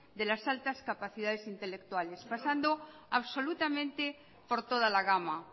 de las altas capacidades intelectuales pasando absolutamente por toda la gama